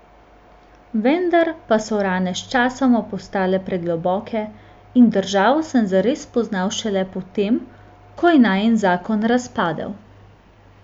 Vendar pa so rane sčasoma postale pregloboke in državo sem zares spoznal šele po tem, ko je najin zakon razpadel.